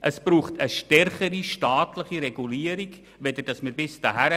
Es braucht eine stärkere staatliche Regulierung, als wir sie bisher haben.